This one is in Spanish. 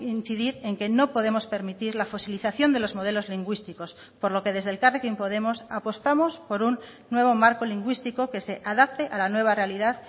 incidir en que no podemos permitir la fosilización de los modelos lingüísticos por lo que desde elkarrekin podemos apostamos por un nuevo marco lingüístico que se adapte a la nueva realidad